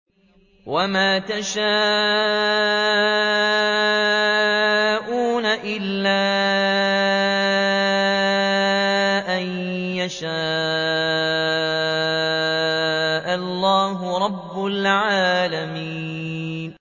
وَمَا تَشَاءُونَ إِلَّا أَن يَشَاءَ اللَّهُ رَبُّ الْعَالَمِينَ